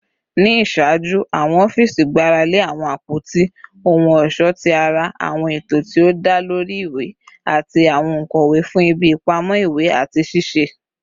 Ni iṣaaju, awọn ọfiisi gbarale awọn apoti ohun ọṣọ ti ara, awọn eto ti o da lori iwe, ati awọn onkọwe fun ibi ipamọ iwe ati sisẹ